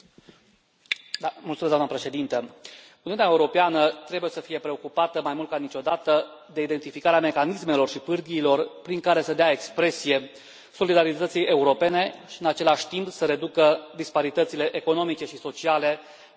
Doamnă președintă, Uniunea Europeană trebuie să fie preocupată mai mult ca niciodată de identificarea mecanismelor și pârghiilor prin care să dea expresie solidarității europene și, în același timp, să reducă disparitățile economice și sociale la nivelul statelor membre.